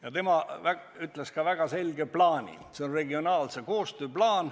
Ja tema ütles ka väga selge plaani: see on regionaalse koostöö plaan.